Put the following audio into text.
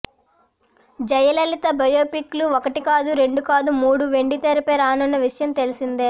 Jayalalithaa biopic లు ఒక్కటికాదు రెండు కాదు మూడు వెండి తెరపై రానున్న విషయం తెలిసిందే